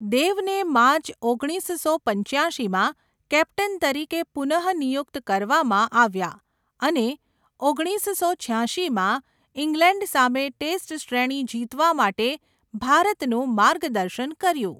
દેવને માર્ચ ઓગણીસસો પંચ્યાશીમાં કેપ્ટન તરીકે પુનઃનિયુક્ત કરવામાં આવ્યા અને ઓગણીસસો છ્યાશીમાં ઈંગ્લેન્ડ સામે ટેસ્ટ શ્રેણી જીતવા માટે ભારતનું માર્ગદર્શન કર્યું.